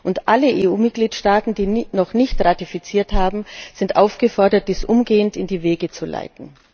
Und alle EU Mitgliedstaaten, die noch nicht ratifiziert haben, sind aufgefordert, dies umgehend in die Wege zu leiten.